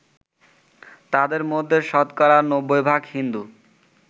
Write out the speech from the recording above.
তাদের মধ্যে শতকরা ৯০ ভাগ হিন্দু